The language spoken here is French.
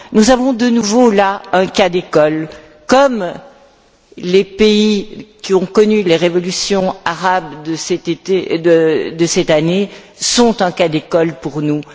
nous avons, de nouveau là, un cas d'école, tout comme les pays qui ont connu les révolutions arabes de cet été et de cette année sont un cas d'école pour nous.